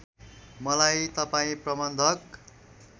मलाई तपाईँ प्रबन्धक